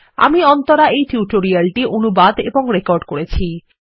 আমি অন্তরা এই টিউটোরিয়ালটি অনুবাদ এবং রেকর্ড করেছি